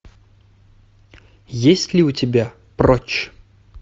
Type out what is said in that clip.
есть ли у тебя прочь